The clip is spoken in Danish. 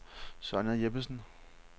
Sonja Jeppesen